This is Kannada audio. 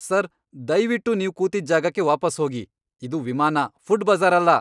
ಸರ್, ದಯ್ವಿಟ್ಟು ನೀವು ಕೂತಿದ್ದ್ ಜಾಗಕ್ಕೆ ವಾಪಸ್ ಹೋಗಿ. ಇದು ವಿಮಾನ, ಫುಡ್ ಬಜ಼ಾರ್ ಅಲ್ಲ!